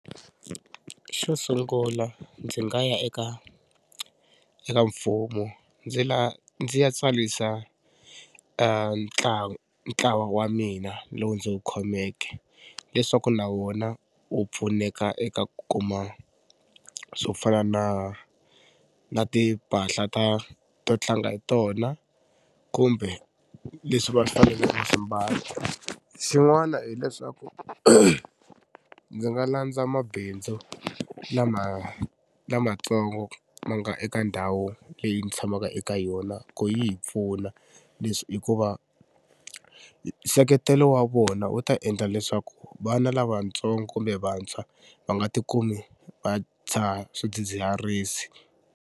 Xo sungula ndzi nga ya eka eka mfumo ndzi ndzi ya tsarisa ntlawa wa mina lowu ndzi wu khomeke leswaku na wona wu pfuneka eka ku kuma swo fana na na timpahla ta to tlanga hi tona kumbe leswi va swi fanele ku swi mbala. Xin'wana hileswaku ndzi nga landza mabindzu lama lamatsongo ma nga eka ndhawu leyi ndzi tshamaka eka yona ku yi hi pfuna hikuva nseketelo wa vona wu ta endla leswaku vana lavatsongo kumbe vantshwa va nga ti kumi va dzaha swidzidziharisi.